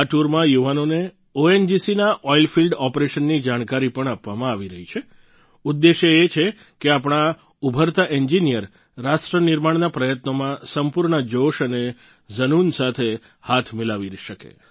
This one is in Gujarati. આ ટૂરમાં યુવાનોને ઓએનજીસી ના ઓઈલ ફિલ્ડ ઓપરેશનની જાણકારી પણ આપવામાં આવી રહી છે ઉદ્દેશ્ય એ છે કે આપણા ઉભરતા એન્જિનિયર રાષ્ટ્ર નિર્માણના પ્રયત્નોમાં સંપૂર્ણ જોશ અને ઝનૂન સાથે હાથ મિલાવી શકે